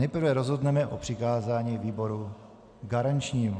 Nejprve rozhodneme o přikázání výboru garančnímu.